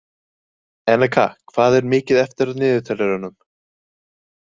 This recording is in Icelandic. Eneka, hvað er mikið eftir af niðurteljaranum?